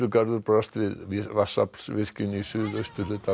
brast við vatnsaflsvirkjun í suðausturhluta